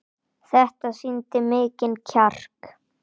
Þetta sýndi mikinn kjark.